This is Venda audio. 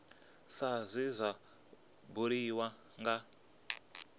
sa zwe zwa buliwa nga